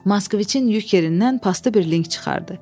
Maskviçin yük yerindən pastı bir link çıxartdı.